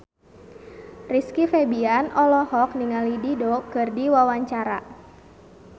Rizky Febian olohok ningali Dido keur diwawancara